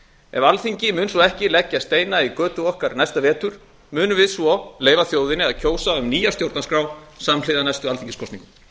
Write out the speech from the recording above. ef alþingi mun svo ekki leggja steina í götu okkar næsta vetur munum við á leyfa þjóðinni að kjósa um nýja stjórnarskrá samhliða næstu alþingiskosningum